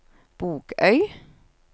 Bogøy